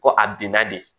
Ko a binna de